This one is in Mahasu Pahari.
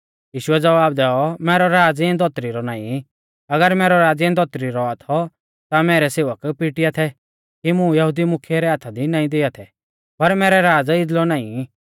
यीशुऐ ज़वाब दैऔ मैरौ राज़ इऐं धौतरी रौ नाईं अगर मैरौ राज़ इऐं धौतरी रौ औआ थौ ता मैरै सेवक पिटिआ थै कि मुं यहुदी मुख्यै रै हाथा दी नाईं दिआ थै पर मैरौ राज़ इदलौ नाईं